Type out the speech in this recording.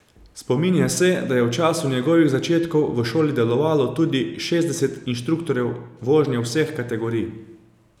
Spominja se, da je v času njegovih začetkov v šoli delovalo tudi šestdeset inštruktorjev vožnje vseh kategorij.